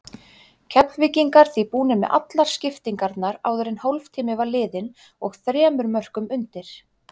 Keflvíkingar því búnir með allar skiptingarnar áður en hálftími var liðinn og þremur mörkum undir.